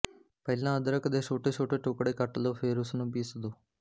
ਪਹਿਲਾਂ ਅਦਰਕ ਦੇ ਛੋਟੇ ਛੋਟੇ ਟੁਕੜੇ ਕੱਟ ਲੋ ਫੇਰ ਉਸਨੂੰ ਪੀਸ ਦੋ